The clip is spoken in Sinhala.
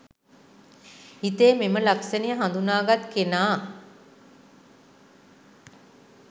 හිතේ මෙම ලක්ෂණය හඳුනාගත් කෙනා